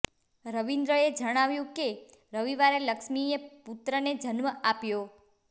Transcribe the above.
રવિન્દ્રએ જણાવ્યું કે રવિવારે લક્ષ્મીએ પુત્રને જન્મ આપ્યો